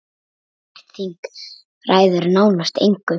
Umrætt þing ræður nánast engu.